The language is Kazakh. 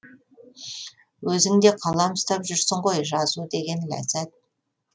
өзің де қалам ұстап жүрсің ғой жазу деген ләззат